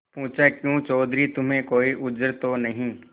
पूछाक्यों चौधरी तुम्हें कोई उज्र तो नहीं